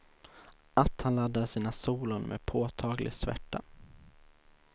Att han laddar sina solon med påtaglig svärta.